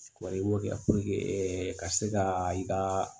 Wa i b'o kɛ ɛɛ ka se ka i ka